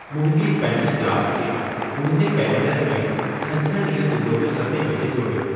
मुंहिंजी Spanish class खे मुंहिंजे कैलेंडर में छंछर ॾींहुं सुबुह जो सतें बजे जोड़ियो।